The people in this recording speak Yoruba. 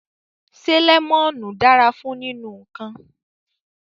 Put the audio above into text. Se lemonu dara fun ninu nkan